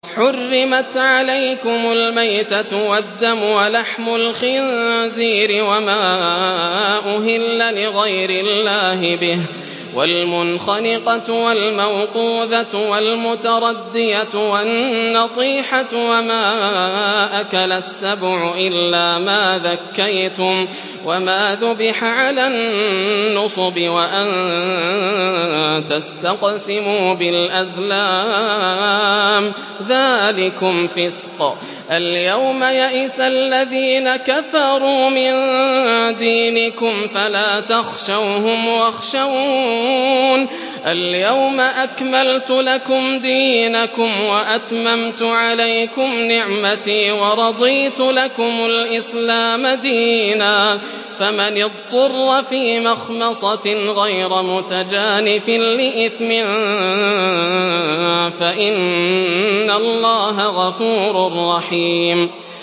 حُرِّمَتْ عَلَيْكُمُ الْمَيْتَةُ وَالدَّمُ وَلَحْمُ الْخِنزِيرِ وَمَا أُهِلَّ لِغَيْرِ اللَّهِ بِهِ وَالْمُنْخَنِقَةُ وَالْمَوْقُوذَةُ وَالْمُتَرَدِّيَةُ وَالنَّطِيحَةُ وَمَا أَكَلَ السَّبُعُ إِلَّا مَا ذَكَّيْتُمْ وَمَا ذُبِحَ عَلَى النُّصُبِ وَأَن تَسْتَقْسِمُوا بِالْأَزْلَامِ ۚ ذَٰلِكُمْ فِسْقٌ ۗ الْيَوْمَ يَئِسَ الَّذِينَ كَفَرُوا مِن دِينِكُمْ فَلَا تَخْشَوْهُمْ وَاخْشَوْنِ ۚ الْيَوْمَ أَكْمَلْتُ لَكُمْ دِينَكُمْ وَأَتْمَمْتُ عَلَيْكُمْ نِعْمَتِي وَرَضِيتُ لَكُمُ الْإِسْلَامَ دِينًا ۚ فَمَنِ اضْطُرَّ فِي مَخْمَصَةٍ غَيْرَ مُتَجَانِفٍ لِّإِثْمٍ ۙ فَإِنَّ اللَّهَ غَفُورٌ رَّحِيمٌ